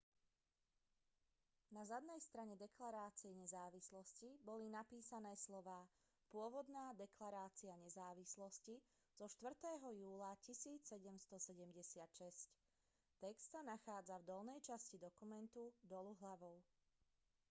na zadnej strane deklarácie nezávislosti boli napísané slová pôvodná deklarácia nezávislosti zo 4. júla 1776 text sa nachádza v dolnej časti dokumentu dolu hlavou